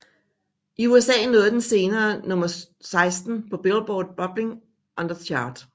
I USA nåede den senere nummer 16 på Billboard Bubbling Under Chart